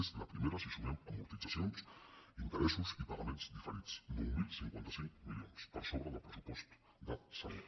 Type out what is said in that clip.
és la primera si sumem amortitzacions interessos i pagaments diferits nou mil cinquanta cinc milions per sobre del pressupost de salut